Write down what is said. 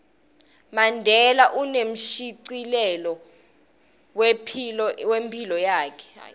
mandela unemshicilelo wephilo yakhe